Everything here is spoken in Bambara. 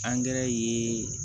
ye